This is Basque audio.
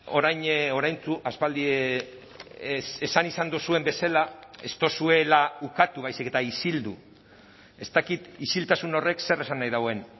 orain oraintsu aspaldi esan izan duzuen bezala ez duzuela ukatu baizik eta isildu ez dakit isiltasun horrek zer esan nahi duen